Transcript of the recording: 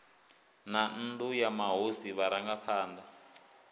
na nnu ya mahosi vharangaphana